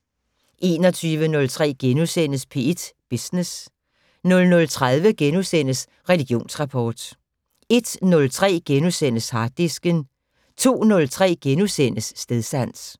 21:03: P1 Business * 00:30: Religionsrapport * 01:03: Harddisken * 02:03: Stedsans *